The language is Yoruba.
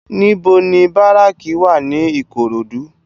NIbò ni báráki wá ni Ikorodu?